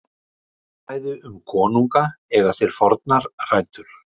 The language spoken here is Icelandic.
lofkvæði um konunga eiga sér fornar rætur